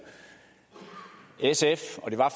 og det var